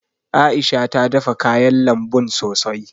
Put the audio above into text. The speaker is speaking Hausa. A'isha ta dafa kayan lambun sosai.